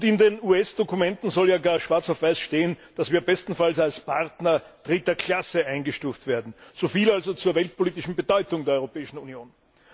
Und in den US Dokumenten soll ja gar schwarz auf weiß stehen, dass wir bestenfalls als Partner dritter Klasse eingestuft werden. So viel also zur weltpolitischen Bedeutung der Europäischen Union!